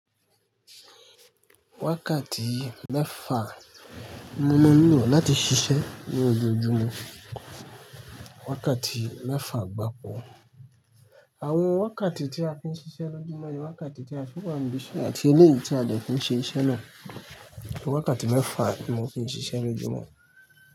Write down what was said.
Wákàtí mẹ́fà ni mo máa n lo láti ṣiṣẹ́ ní ojúmọ́. Wákàtí mẹ́fà gbáko. Àwọn wákàtí tí a fi ń ṣiṣẹ́ lójúmọ́ ni wákàtí tí a fi wá níbí iṣẹ́ àti eléyìí tí a dẹ̀ fi ṣe iṣẹ́ náà. Wákàtí mẹ́fà ni mo fi ń ṣiṣẹ́ lójúmọ́.